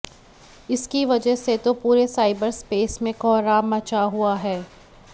इसकी वजह से तो पूरे साइबर स्पेस में कोहराम मचा हुआ है